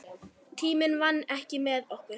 Tíminn vann ekki með okkur.